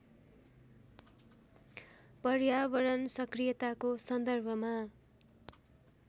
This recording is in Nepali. पर्यावरण सक्रियताको सन्दर्भमा